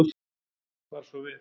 bar svo við